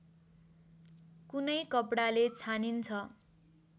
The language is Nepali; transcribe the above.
कुनै कपडाले छानिन्छ